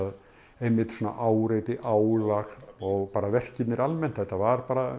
einmitt svona áreiti álag og verkirnir almennt þetta var bara